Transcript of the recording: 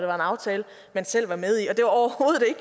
aftale man selv var med i